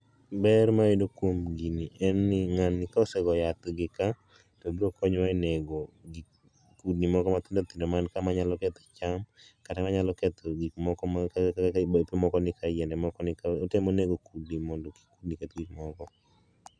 Ber ma wayudo kuom gini en ni ng'ani ka osegoyo yath gi kaa, to obokonyowa e nego kudni moko mathindothindo man kaa manyalo ketho cham kata manyalo ketho gikmoko man kae kaka bape moko ni ka, yiende moko ni ka. Otemo nego kudni mondo kik kudni keth gikmoko.